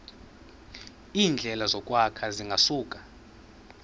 iindleko zokwakha zingasuka